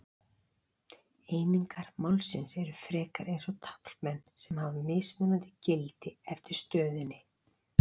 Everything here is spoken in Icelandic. Einingar málsins eru frekar eins og taflmenn sem hafa mismunandi gildi eftir stöðunni.